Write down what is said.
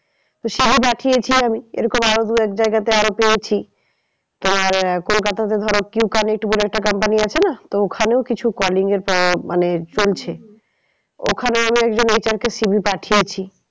তো CV পাঠিয়েছি আমি এরকম আরো দু এক জায়গাতে আরো পেয়েছি। এবার কোলকাতাতে ধরো Q connect বলে একটা company আছে না তো ওখানেই কিছু calling এর মানে ওখানেও আমি একজন HR কে CV পাঠিয়েছি।